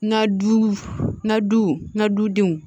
N ka du n ka du n ka dudenw